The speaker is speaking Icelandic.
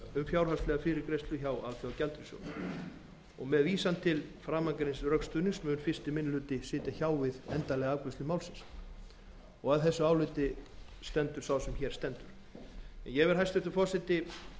fjárhagslega fyrirgreiðslu hjá alþjóðagjaldeyrissjóðnum með vísan til framangreinds rökstuðnings mun fyrsti minni hluti sitja hjá við endanlega afgreiðslu málsins að þessu áliti stendur sá sem hér stendur ég vil hæstvirtur forseti vísa